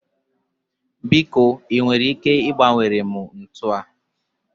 biko ị nwere ike ịgbanwere m ntu a?